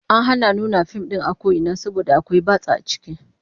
An hana nuna fim din a ko ina saboda akwai batsa a ciki